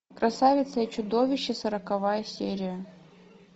красавица и чудовище сороковая серия